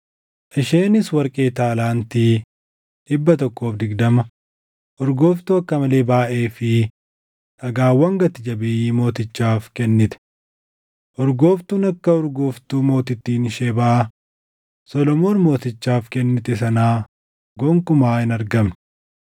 Isheenis warqee taalaantii 120, urgooftuu akka malee baayʼee fi dhagaawwan gati jabeeyyii mootichaaf kennite. Urgooftuun akka urgooftuu mootittiin Shebaa Solomoon Mootichaaf kennite sanaa gonkumaa hin argamne.